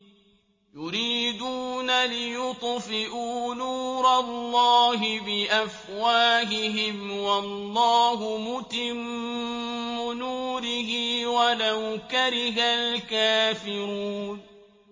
يُرِيدُونَ لِيُطْفِئُوا نُورَ اللَّهِ بِأَفْوَاهِهِمْ وَاللَّهُ مُتِمُّ نُورِهِ وَلَوْ كَرِهَ الْكَافِرُونَ